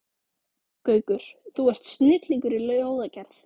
Gaukur, þú ert snillingur í ljóðagerð.